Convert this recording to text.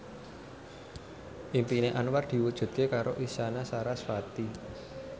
impine Anwar diwujudke karo Isyana Sarasvati